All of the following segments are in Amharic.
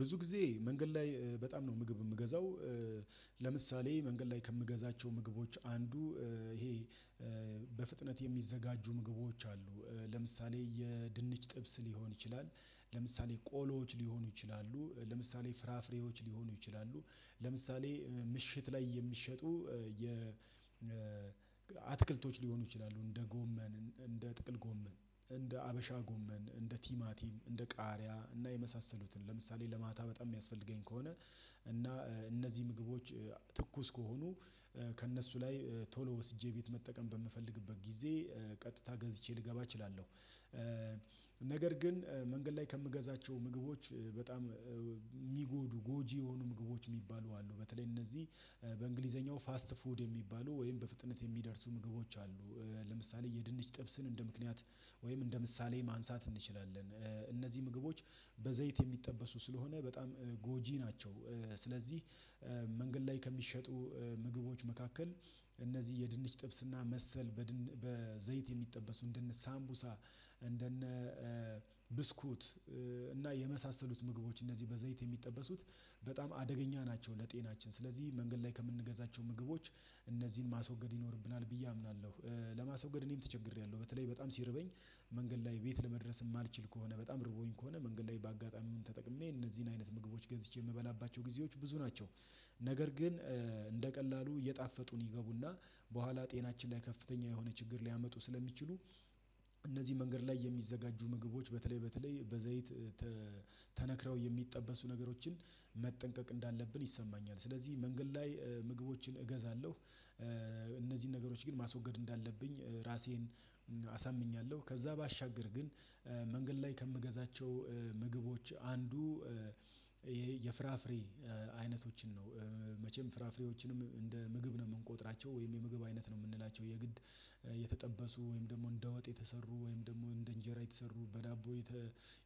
ብዙ ጊዜ መንገድ ላይ በጣም ነው ምግብ የምገዛው። ለምሳሌ መንገድ ላይ ከምገዛቸው ምግቦች አንዱ ይሄ በፍጥነት የሚዘጋጁ ምግቦች አሉ። ለምሳሌ የድንች ጥብስ ሊሆን ይችላል ለምሳሌ ቆሎዎች ሊሆኑ ይችላሉ ለምሳሌ ፍራፍሬዎች ሊሆኑ ይችላሉ ለምሳሌ ምሽት ላይ የሚሸጡ የ አትክልቶች ሊሆኑ ይችላሉ እንደ ጎመን እንደ ጥቅል ጎመን እንደ ሀበሻ ጎመን እንደ ቲማቲም እንደ ቃሪያ እና የመሳሰሉትን ለምሳሌ ለማታ በጣም የሚያስፈልገኝ ከሆነ እና እነዚህ ምግቦች ትኩስ ከሆኑ ከእነሱ ላይ ቶሎ ወስጄ ቤት መጠቀም በምፈልግበት ጊዜ ቀጥታ ገዝቼ ልገባ እችላለሁ። ነገር ግን መንገድ ላይ ከምገዛቸው ምግቦች በጣም የሚጎዱ ጎጂ የሆኑ ምግቦች የሚባሉ አሉ በተለይ እነዚህ በእንግሊዘኛው ፋስት ፉድ የሚባሉ ወይም በፍጥነት የሚደርሱ ምግቦች አሉ። ለምሳሌ የድንች ጥብስን እንደ ምክንያት ወይም እንደ ምሳሌ ማንሳት እንችላለን እነዚህ ምግቦች በዘይት የሚጠበሱ ስለሆነ በጣም ጎጂ ናቸው። ስለዚህ መንገድ ላይ ከሚሸጡ ምግቦች መካከል እነዚህ የድንች ጥብስና መሰል በዘይት የሚጠበሱ እንደነ ሳምቡሳ እንደነ ብስኩት እና የመሳሰሉት ምግቦች እነዚህ በዘይት የሚጠበሱት በጣም አደገኛ ናቸው ለጤናችን ስለዚህ መንገድ ላይ ከምንገዛቸው ምግቦች እነዚህን ማስወገድ ይኖርብናል ብዬ አምናለሁ። ለማስወገድ እኔም ተቸግሬያለሁ በተለይ በጣም ሲርበኝ መንገድ ላይ ቤት ለመድረስ የማልችል ከሆነ በጣም ርቦኝ ከሆነ መንገድ ላይ በአጋጣሚ ተጠቅሜ እነዚህን አይነት ምግቦች ገዝቼ የምበላባቸው ጊዜዎች ብዙ ናቸው። ነገር ግን እንደ ቀላሉ እየጣፈጡን ይገቡና በኋላ ጤናችን ላይ ከፍተኛ የሆነ ችግር ሊያመጡ ስለሚችሉ እነዚህ መንገድ ላይ የሚዘጋጁ ምግቦች በተለይ በተለይ በዘይት ተነክረው የሚጠበሱ ነገሮችን መጠንቀቅ እንዳለብን ይሰማኛል። ስለዚህ መንገድ ላይ ምግቦችን እገዛለሁ። እነዚህን ነገሮች ግን ማስወገድ እንዳለብኝ ራሴን አሳምኛለሁ ከዛ ባሻገር ግን መንገድ ላይ ከምገዛቸው ምግቦች አንዱ የፍራፍሬ አይነቶችን ነው። መቼም ፍራፍሬዎችንም እንደ ምግብ ነው የምንቆጥራቸው ወይም የምግብ አይነት ነው የምንላቸው የግድ የተጠበሱ ወይም ደግሞ እንደ ወጥ የተሰሩ ወይም ደግሞ እንደ እንጀራ የተሰሩ በዳቦ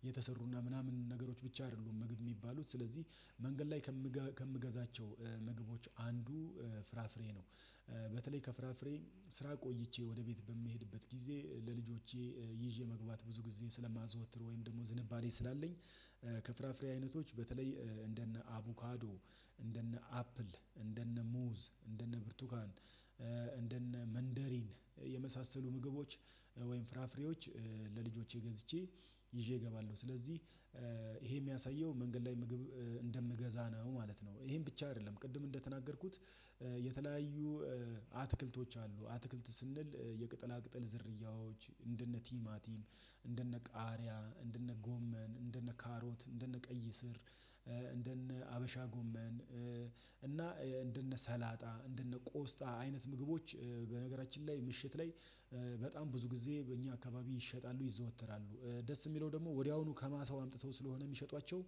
የተሰሩና ምናምን ነገሮች ብቻ አይደሉም ምግብ የሚባሉት ስለዚህ። መንገድ ላይ ከምገዛቸው ምግቦች አንዱ ፍራፍሬ ነው። በተለይ ከፍራፍሬ ስራ ቆይቼ ወደ ቤት በምሄድበት ጊዜ ለልጆቼ ይዤ መግባት ብዙ ጊዜ ስለማዘወትር ወይም ደግሞ ዝንባሌ ስላለኝ ከፍራፍሬ አይነቶች በተለይ እንደነ አቡካዶ እንደነ አፕል እንደነ ሙዝ እንደነ ብርቱካን እንደነ መንደሪን የመሳሰሉ ምግቦች ወይም ፍራፍሬዎች ለልጆቼ ገዝቼ ይዤ እገባለሁ ስለዚህ። ይሄ የሚያሳየው መንገድ ላይ ምግብ እንደምገዛ ነው ማለት ነው። ይሄን ብቻ አይደለም ቅድም እንደተናገርኩት የተለያዩ አትክልቶች አሉ አትክልት ስንል የቅጠላ ቅጠል ዝርያዎች እንደነ ቲማቲም እንደነ ቃሪያ እንደነ ጎመን እንደነ ካሮት እንደነ ቀይ ስር እንደነ ሀበሻ ጎመን። እና እንደነ ሰላጣ እንደነ ቆስጣ አይነት ምግቦች በነገራችን ላይ ምሽት ላይ በጣም ብዙ ጊዜ በእኛ አካባቢ ይሸጣሉ ይዘወተራሉ ደስ የሚለው ደግሞ ወዲያውኑ ከማሳው አምጥተው ስለሆነ የሚሸጧቸው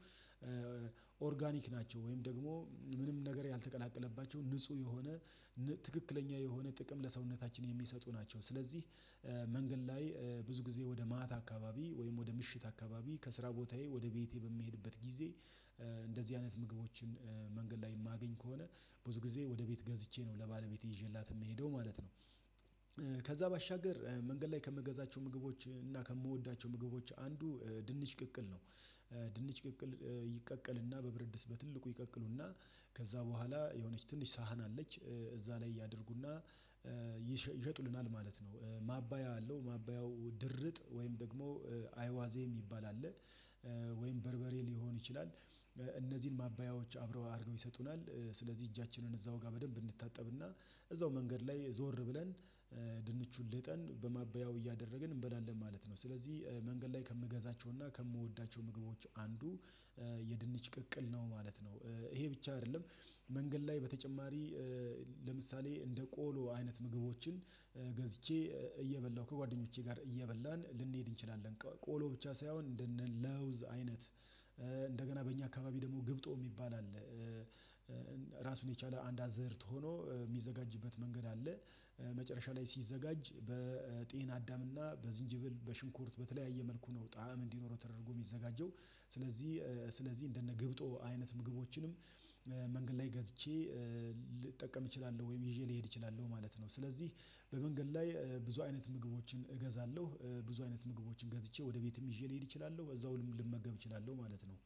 ኦርጋኒክ ናቸው ወይም ደግሞ ምንም ነገር ያልተቀላቀለባቸው ንጹህ የሆነ ትክክለኛ የሆነ ጥቅም ለሰውነታችን የሚሰጡ ናቸው። ስለዚህ መንገድ ላይ ብዙ ጊዜ ወደ ማት አካባቢ ወይም ወደ ምሽት አካባቢ ከስራ ቦታዬ ወደ ቤቴ በምሄድበት ጊዜ እንደዚህ አይነት ምግቦችን መንገድ ላይ የማገኝ ከሆነ ብዙ ጊዜ ወደ ቤት ገዝቼ ነው ለባለቤቴ ይዤላት የምሄደው ማለት ነው። ከዛ ባሻገር መንገድ ላይ ከምገዛቸው ምግቦች እና ከምወዳቸው ምግቦች አንዱ ድንች ቅቅል ነው። ድንች ቅቅል ይቀቀልና በብርድስ በትልቁ ይቀቅሉና ከዛ በኋላ የሆነች ትንሽ ሳህን አለች እዛ ላይ ያድርጉና ይሸጡልናል ማለት ነው። ማባያ አለው ማባያው ድርጥ ወይም ደግሞ አይዋዜ የሚባል አለ ወይም በርበሬ ሊሆን ይችላል። እነዚህን ማባያዎች አብረው አድርገው ይሰጡናል ስለዚህ እጃችንን እዛው ጋር በደንብ እንታጠብና እዛው መንገድ ላይ ዞር ብለን ድንቹን ልጠን በማበያው እያደረግን እንበላለን ማለት ነው። ስለዚህ መንገድ ላይ ከምገዛቸውና ከምወዳቸው ምግቦች አንዱ የድንች ቅቅል ነው ማለት ነው። ይሄ ብቻ አይደለም መንገድ ላይ በተጨማሪ ለምሳሌ እንደ ቆሎ አይነት ምግቦችን ገዝቼ እየበላሁ ከጓደኞቼ ጋር እየበላን ልንሄድ እንችላለን ቆሎ ብቻ ሳይሆን እንደነ ለውዝ አይነት እንደገና በእኛ አካባቢ ደግሞ ግብጦ የሚባል አለ። የቻለ አንድ አዝዕርት ሆኖ የሚዘጋጅበት መንገድ አለ። መጨረሻ ላይ ሲዘጋጅ በጤና አዳምና በዝንጅብል በሽንኩርት በተለያየ መልኩ ነው ጣዕም እንዲኖረው ተደርጎ የሚዘጋጀው። ስለዚህ ስለዚህ እንደነ ገብጦ አይነት ምግቦችንም መንገድ ላይ ገዝቼ ልጠቀም እችላለሁ ወይም ይዤ ልሄድ እችላለሁ ማለት ነው። ስለዚህ በመንገድ ላይ ብዙ አይነት ምግቦችን እገዛለሁ ብዙ አይነት ምግቦችን ገዝቼ ወደ ቤትም ይዤ ልሄድ እችላለሁ በዛውም ልመገብ እችላለሁ ማለት ነው።